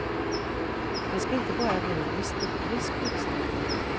Det ska inte bara bli en historisk utställning.